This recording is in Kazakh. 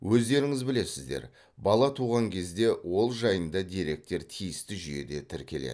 өздеріңіз білесіздер бала туған кезде ол жайында деректер тиісті жүйеде тіркеледі